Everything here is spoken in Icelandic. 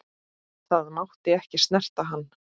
Það mátti ekki snerta hann.